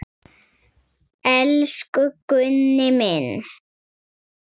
Elsku Gunni minn.